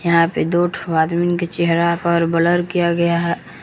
यहां पे दो ठो आदमीन के चेहरा पर ब्लर किया गया है।